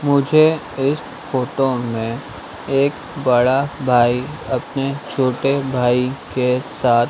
मुझे इस फोटो में एक बड़ा भाई अपने छोटे भाई के साथ--